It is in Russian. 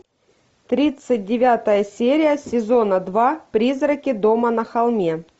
тридцать девятая серия сезона два призраки дома на холме